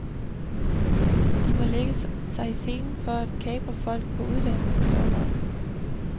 De må lægge sig i selen for at kapre folk på uddannelsesorlov.